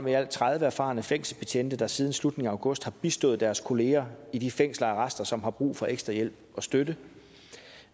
i alt tredive erfarne fængselsbetjente der siden slutningen af august har bistået deres kolleger i de fængsler og arrester som har brug for ekstra hjælp og støtte